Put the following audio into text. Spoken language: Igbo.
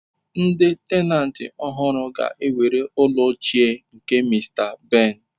Ndi tenantị ọhụrụ ga-ewere ụlọ ochie nke Mr. Ben.